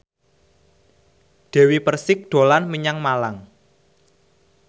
Dewi Persik dolan menyang Malang